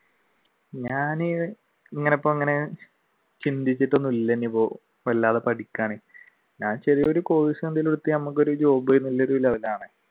ഞാൻ ചിന്തിച്ചിട്ടൊന്നുമില്ല ഇപ്പൊ വല്ലാതെ പഠിക്കാൻ ഞാൻ ചെറിയ ഒരു course എന്തെങ്കിലും എടുത്ത് ഞമ്മക്ക് ഒരു job